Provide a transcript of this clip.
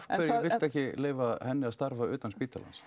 viltu ekki leyfa henni að starfa utan spítalans